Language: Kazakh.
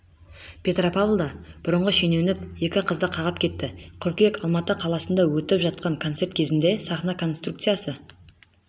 петропавлда бұрынғы шенеунік екі қызды қағып кетті қыркүйек алматы қаласында өтіп жатқан концерт кезінде сахна конструкциясы